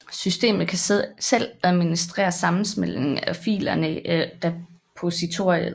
Systemet kan selv administrere sammensmeltningen af filerne i repositoryet